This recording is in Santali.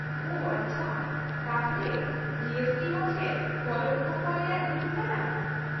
-ᱳ ᱟᱪᱪᱷᱟ ᱾ ᱛᱟᱦᱚᱞᱮ ᱡᱤ ᱮᱥ ᱴᱤ ᱦᱚᱸ ᱪᱮᱫ ᱯᱚᱨᱳᱠᱠᱷᱚ ᱠᱚᱨ ᱨᱮᱭᱟᱜ ᱦᱤᱸᱥ ᱠᱟᱱᱟ ?